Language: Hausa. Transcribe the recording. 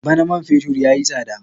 Bana man fetur ya yi tsada.